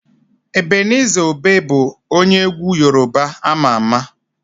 Ebeniza Obe bụ onye egwu Yorùbá ama ama.